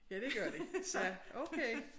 Ja det gør de ja okay